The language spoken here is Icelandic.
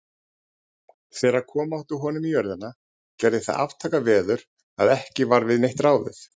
Þegar koma átti honum í jörðina, gerði það aftakaveður, að ekki varð við neitt ráðið.